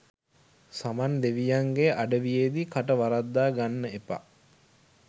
සමන් දෙවියන්ගෙ අඩවියේදි කට වරද්දා ගන්න එපා